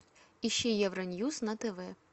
ищи евроньюс на тв